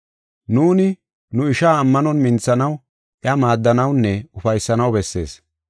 Nuuni nu ishaa ammanon minthanaw iya maaddanawunne ufaysanaw bessees.